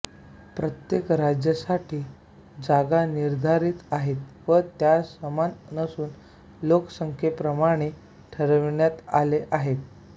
प्रत्येक राज्यासाठी जागा निर्धारीत आहेत व त्या समान नसून लोकसंख्येप्रमाणे ठरविण्यात आल्या आहेत